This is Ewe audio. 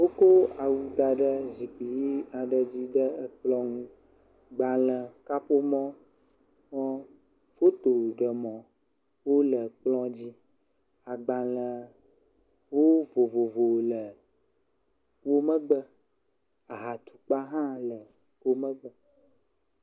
Wòkɔ awu ɣi aɖe da ɖe zikpui ɖe ekplɔ nu. Gbalẽ, kaƒomɔ kple fotoɖemɔ wole kplɔ dzi. Agbalẽwo vovovowo le wò megbe. Aha tukpe hã le wò megbe.